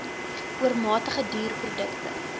oormatige duur produkte